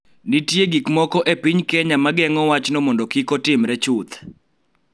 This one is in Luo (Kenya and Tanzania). Nitie gik moko ma geng�o e piny Kenya ma geng�o wachno mondo kik otimre chuth.